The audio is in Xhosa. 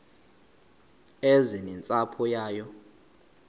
eze nentsapho yayo